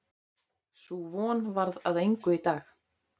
Sú von varð að engu í dag.